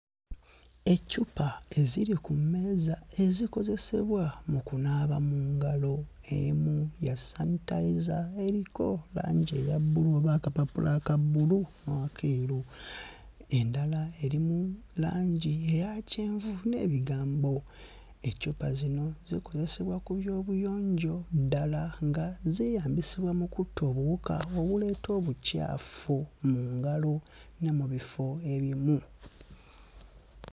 Eccupa eziri ku mmeeza ezikozesebwa mu kunaaba mu ngalo, emu ya sanitayiza eriko langi eya bbulu oba akapapula aka bbulu n'akeeru. Endala eri mu langi eya kyenvu n'ebigambo. Eccupa zino zikozesebwa ku byobuyonjo ddala nga zeeyambisibwa mu kutta obuwuka obuleeta obukyafu mu ngalo ne mu bifo ebimu.